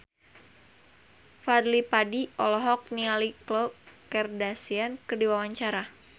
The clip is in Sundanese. Fadly Padi olohok ningali Khloe Kardashian keur diwawancara